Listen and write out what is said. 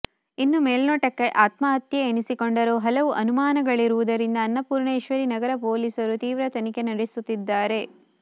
ಇನ್ನು ಮೇಲ್ನೋಟಕ್ಕೆ ಆತ್ಮಹತ್ಯೆ ಎನಿಸಿಕೊಂಡರೂ ಹಲವು ಅನುಮಾನಗಳಿರುವುದರಿಂದ ಅನ್ನಪೂರ್ಣೇಶ್ವರಿ ನಗರ ಪೊಲೀಸರು ತೀವ್ರ ತನಿಖೆ ನಡೆಸುತ್ತಿದ್ದಾರೆ